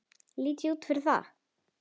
Lít ég út fyrir það?